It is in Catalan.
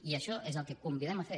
i això és el que convidem a fer